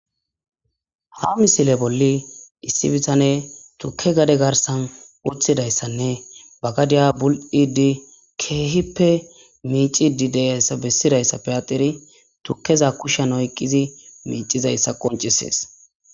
Ha misile bolli issi bitane tuke gade garsan uthidayssanne bagadiya bul'idi keehippe miicidi deyayssa bessidayssa peyateri tukkeza kushshan oyqizi miicizayssa qoncisees.